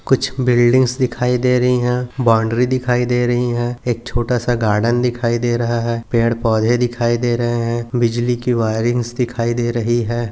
कुछ बिल्डिंग्स दिखाई दे रही है बाउन्ड्री दिखाई दे रही है एक छोटासा गार्डन दिखाई दे रहा है पेड़ पौधे दिखाई दे रहे है बिजली की वायरिंग्स दिखाई दे रही है।